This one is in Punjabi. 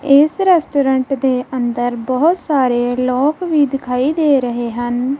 ਇਸ ਰੈਸਟੋਰੈਂਟ ਦੇ ਅੰਦਰ ਬਹੁਤ ਸਾਰੇ ਲੋਕ ਵੀ ਦਿਖਾਈ ਦੇ ਰਹੇ ਹਨ।